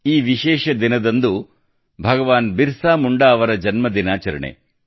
ಈ ವಿಶೇಷ ದಿನದಂದು ಭಗವಾನ್ ಬಿರ್ಸಾ ಮುಂಡಾ ಅವರ ಜನ್ಮ ಆಚರಣೆಯಾಗಿದೆ